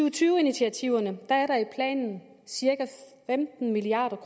og tyve initiativerne er der i planen cirka femten milliard